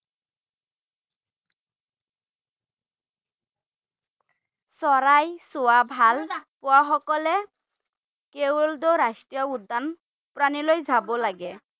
চৰাই চোৱা ভাল পোৱা সকলে ৰাষ্ট্ৰীয় উদ্যান প্ৰাণীলৈ যাব লাগে৷